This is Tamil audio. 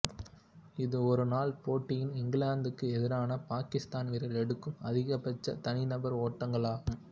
இது ஒருநாள் போட்டியில் இங்கிலாந்துக்கு எதிரான பாகிஸ்தான் வீரர் எடுக்கும் அதிகபட்ச தனிநபர் ஓட்டங்கள் ஆகும்